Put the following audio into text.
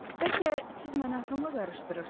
Bəlkə siz məni atamla qarışdırırsınız?